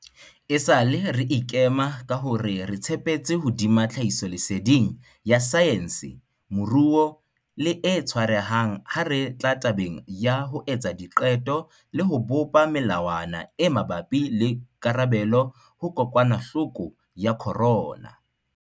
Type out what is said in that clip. Esale re ikema ka hore re tshepetse hodima tlhahisoleseding ya saense, moruo le e tshwarehang ha re tla tabeng ya ho etsa diqeto le ho bopa melawana e mabapi le karabelo ho kokwanahloko ya corona.